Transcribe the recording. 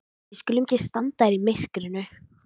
Við skulum ekki standa hér í myrkrinu.